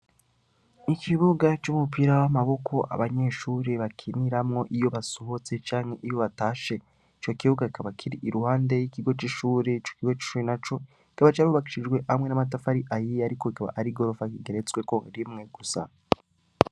Ikibuga c'umupira w'amaboko abanyeshure bakiniramwo iyo basohotse canke iyo batashe. Ico kibuga kikaba kiri iruhande y'ikigo c'ishure ico kigo c'ishure na co, kikaba carubakishijwe hamwe n'amatafari ahiye ariko ikaba ari igorofa igeretswe rimwe gusa.